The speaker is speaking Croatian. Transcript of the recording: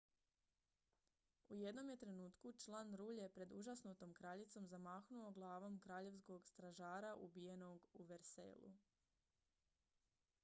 u jednom je trenutku član rulje pred užasnutom kraljicom zamahnuo glavom kraljevskog stražara ubijenog u versaillesu